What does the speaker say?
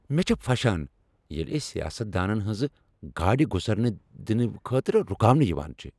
مےٚ چھےٚ پھۄشان ییٚلہ أسۍ سیاست دانن ہنٛزٕ گاڑِ گزرنہٕ دنہٕ خٲطرٕ رکاونہٕ یوان چھِ۔